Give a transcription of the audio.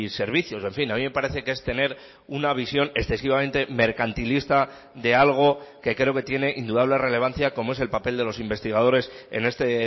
servicios en fin a mí me parece que es tener una visión excesivamente mercantilista de algo que creo que tiene indudable relevancia como es el papel de los investigadores en este